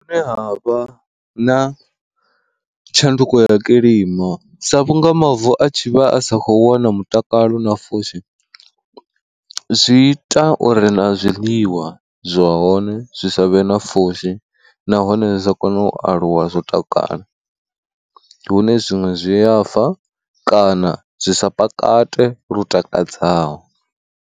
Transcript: Zwine ha vha na tshanduko ya kilima sa vhunga mavu a tshi vha a sa kho wana mutakalo na pfhushi, zwi ita uri na zwiḽiwa zwa hone zwi sa vhe na pfhushi nahone zwi sa kona u aluwa zwo takala, hune zwiṅwe zwiyafa kana zwi sa pakate lu takadzaho.